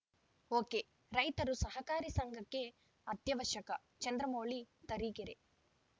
ಒಕೆರೈತರು ಸಹಕಾರಿ ಸಂಘಕ್ಕೆ ಅತ್ಯವಶ್ಯಕ ಚಂದ್ರಮೌಳಿ ತರೀಕೆರೆ